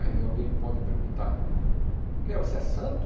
Aí alguém pode perguntar, o que é, você é santo?